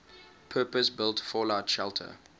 purpose built fallout shelter